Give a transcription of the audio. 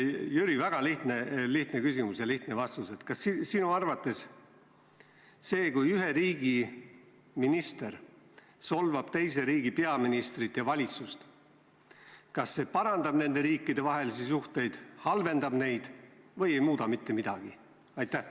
Jüri, väga lihtne küsimus ja lihtne vastus: kas sinu arvates see, kui ühe riigi minister solvab teise riigi peaministrit ja valitsust, parandab nende riikide vahelisi suhteid, halvendab neid või ei muuda mitte midagi?